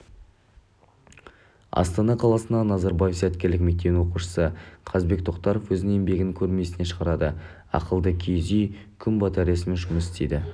астана қаласындағы назарбаев зияткерлік мектебінің оқушысы қазбек тоқтаров өзінің еңбегін көрмесіне шығарады ақылды киіз үй күн батареясымен жұмыс істейді